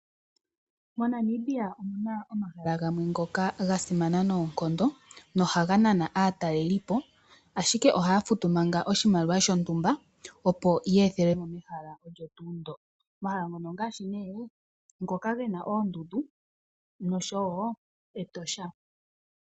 MoNamibia omuna omahala gamwe ngoka gasimana noonkondo nohaga nana aatalelipo ashike ohaya futu manga oshimaliwa shontumba opo ye ethelwemo mehala olyo tuu ndo. Omahala ngono ongaashi ne ngoka gena oondundu noshowo Etosha.